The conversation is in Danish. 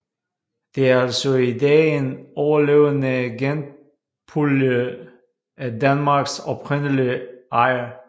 De er altså i dag en overlevende genpulje af Danmarks oprindelige ege